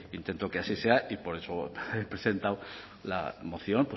intento que así sea y por eso he presentado la moción